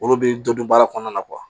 Olu bɛ dɔ dun baara kɔnɔna na kuwa